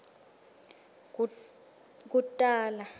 kutali